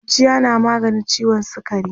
gujjiya na maganin ciwon sukari